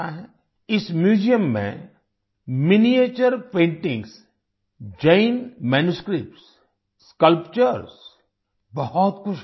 इस म्यूजियम में miniature paintings miniature paintings Jaina manuscripts Jain manuscripts sculptures sculpture बहुत कुछ है